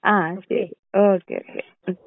ആ ശരി okay okay ഉം.